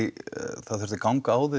það þurfti að ganga